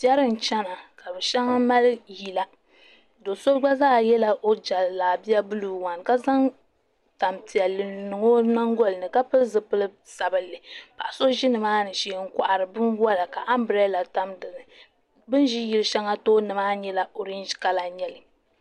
piɛri n-chana ka bɛ shɛba mali yila do' so gba zaa yɛla o jallaab-i-a buluu wan ka zaŋ tampiɛlli n-niŋ o nyingoli ni ka pili zipil' sabilinli paɣa so ʒi ni maani shee n-kɔhiri binwala ka ambirɛla tam --ni bɛ ni ʒi yil' shɛŋa tooni maa nyɛla -ɔrenji kala